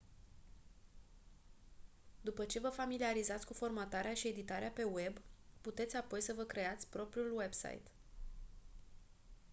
după ce vă familiarizați cu formatarea și editarea pe web puteți apoi să vă creați propriul website